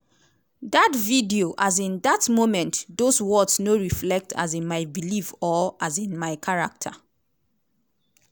dat video um dat moments dose words no reflect um my beliefs or um my character.